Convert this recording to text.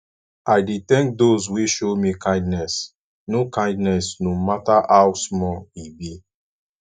i dey tank dose wey show me kindness no kindness no mata how small e be